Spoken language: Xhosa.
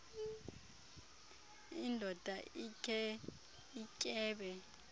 indoda ikhe ityebe